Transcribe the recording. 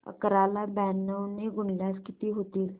अकरा ला ब्याण्णव ने गुणल्यास किती होतील